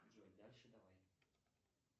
джой дальше давай